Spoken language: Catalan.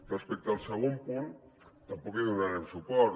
respecte al segon punt tampoc hi donarem suport